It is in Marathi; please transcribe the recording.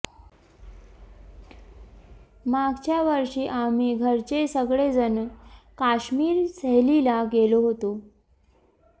मागच्या वर्षी आम्ही घरचे सगळेजणं काश्मीर सहलीला गेलो होतो